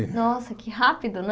Nossa, que rápido, né?